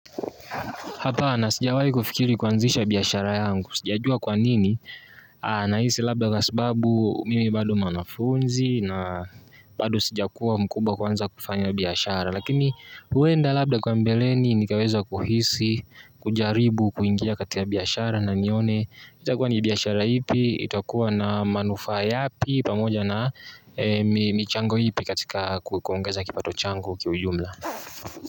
Hapana, sijawahi kufikiri kuanzisha biashara yangu. Sijajua kwanini, nahisi labda kwa sababu mimi bado mwanafunzi na bado sijakuwa mkubwa kuanza kufanya biashara. Lakini, huenda labda kwa mbeleni nikaweza kuhisi, kujaribu, kuingia katika biashara na nione. Itakuwa ni biashara ipi, itakuwa na manufaa yapi, pamoja na michango ipi katika kuongeza kipato changu kiujumla.